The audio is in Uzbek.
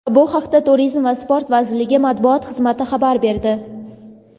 Bu haqda Turizm va sport vazirligi matbuot xizmati xabar berdi.